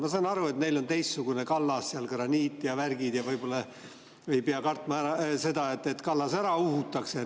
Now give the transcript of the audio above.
Ma saan aru, et neil on teistsugune kallas, seal on graniit ja värgid ja võib-olla ei pea kartma seda, et kallas ära uhutakse.